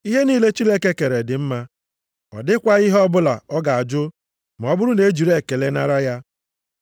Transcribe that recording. Ihe niile Chineke kere dị mma, ọ dịkwaghị ihe ọbụla a ga-ajụ ma ọ bụrụ na e jiri ekele nara ya,